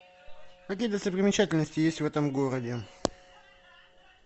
какие достопримечательности есть в этом городе